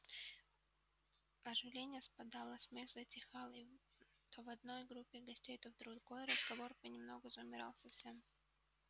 оживление спадало смех затихал и то в одной группе гостей то в другой разговор понемногу замирал совсем